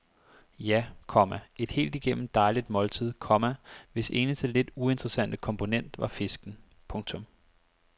Ja, komma et helt igennem dejligt måltid, komma hvis eneste lidt uinteressante komponent var fisken. punktum